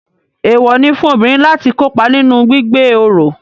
Eewọ ní fún obìnrin láti kópa nínú gbígbé oro